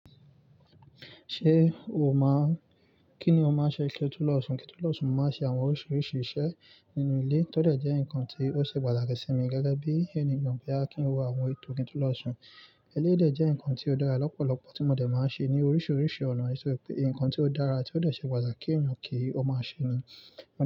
Ṣé o máà n, kí ni o máa ń ṣe kí o tó lọ̀ṣùn? Kí n to ló lọ̀ṣùn máa ń ṣe àwọn oríṣiríṣi iṣẹ́ nínú ilé, tọ́ dẹ̀ jẹ́ nǹkan tí ó ṣe pàtàkì sí mi gẹ́gẹ́ bí ènìyàn boyà kín wo àwọn ètò kí n tó lọ̀ṣùn. Eléyii dè jẹ́ ǹkan tí ó dára lọ́pọ̀lọpọ̀ tí mo dẹ̀ máa ń ṣe ní oríṣiríṣi ọ̀nà, èso pẹ́ ǹkan tí ó dára tí ó dẹ̀ ṣe pàtàkì kí ènìyàn kí ó máa ṣe ni.